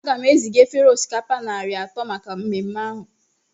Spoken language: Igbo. Aga m eziga efere osikapa narị atọ maka mmemme ahụ